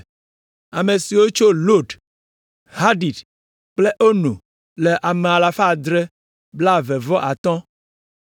Ame siwo tso Lod, Hadid kple Ono le ame alafa adre kple blaeve vɔ atɔ̃ (725).